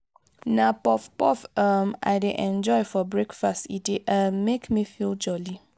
na puff-puff um i dey enjoy for breakfast e dey um make me feel jolly.